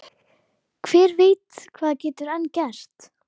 Hver veit hvað getur enn gerst?